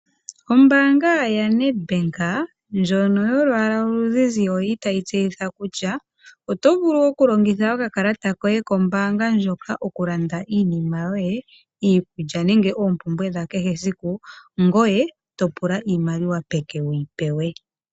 Ombaanga ya NedBank ndjono yolwaala oluzizi oyili tayi tseyitha kutya oto vulu okulongitha okakalata koye kombaanga ndjoka okulanda iinima yoye iikulya nenge oompumbwe dha kehe siku ngoye to pula iimaliwa peke wuyi pewe.